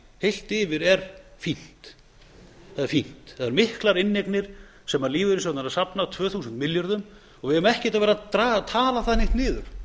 heilt yfir er fínt það eru miklar inneignir sem lífeyrissjóðirnir eru að safna tvö þúsund milljörðum og við eigum ekki að vera að tala það neitt niður